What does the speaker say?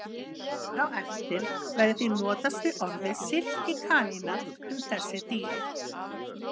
Hér á eftir verður því notast við orðið silkikanína um þessi dýr.